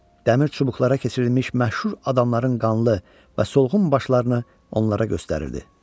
Dəmir çubuqlara keçirilmiş məşhur adamların qanlı və solğun başlarını onlara göstərirdi.